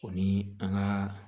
O ni an ka